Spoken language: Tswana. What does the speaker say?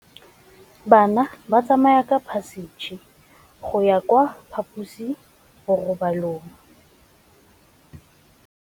Bana ba tsamaya ka phašitshe go ya kwa phaposiborobalong.